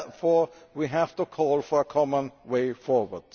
Therefore, we have to call for a common way forward.